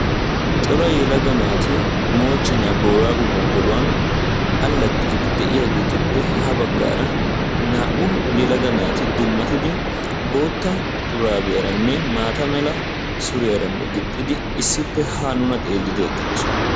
Cora yelaga naati moochchenaa booraago gonggoluwan allaxxiidi de'iyageetuppe ha baggaara naa''u yelaga naati dummatidi bootta shuraabiyaranne maata mala suriyaaranne gixxidi issippe haa nuna xeellidi eqqidosona.